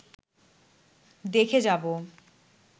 দেখে যাব